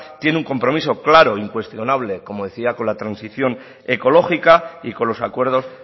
tiene un compromiso claro incuestionable como decía con la transición ecológica y con los acuerdos